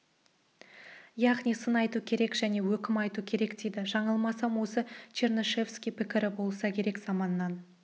яғни сын айту керек және өкім айту керек дейді жаңылмасам осы чернышевский пікірі болса керек заман